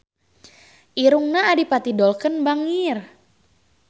Irungna Adipati Dolken bangir